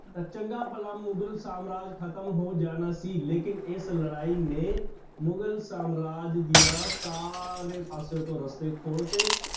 ਤਾਂ ਚੰਗਾ ਭਲਾ ਮੁਗ਼ਲ ਸਾਮਰਾਜ ਖ਼ਤਮ ਹੋ ਜਾਣਾ ਸੀ ਲੇਕਿੰਨ ਇਸ ਲੜਾਈ ਨੇ ਮੁਗ਼ਲ ਸਾਮਰਾਜ ਦੀਆਂ ਸਾਰੇ ਪਾਸੇ ਤੋਂ ਰਸਤੇ ਖੋਲ ਦਿੱਤੇ।